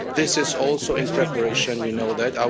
This is also in preparation we know that.